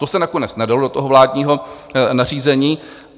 To se nakonec nedalo do toho vládního nařízení.